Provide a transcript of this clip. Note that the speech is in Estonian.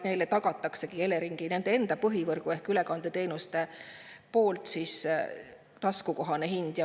Neile tagab nende enda põhivõrgu ehk ülekandeteenuste taskukohase hinna.